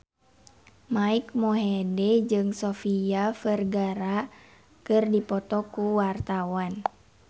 Mike Mohede jeung Sofia Vergara keur dipoto ku wartawan